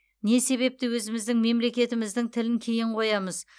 не себепті өзіміздің мемлекетіміздің тілін кейін қоямыз